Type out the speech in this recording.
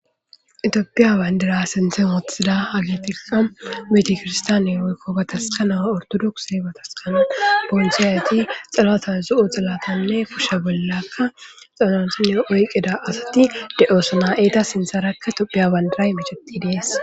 Tophiya bandirra sinthe wothidda hayissatikka betikiristanne woyiko batasikana oritodokise laxanata mayida kushe bollaka oyikida assati deyesi etta sinitharaka tophiya bandirayi dessi